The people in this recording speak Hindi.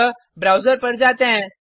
अतः ब्राउज़र पर जाते हैं